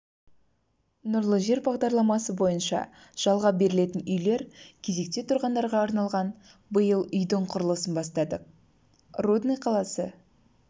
нұрлы жер бағдарламасы бойынша жалға берілетін үйлер кезекте тұрғандарға арналған биыл үйдің құрылысын бастадық рудный қаласы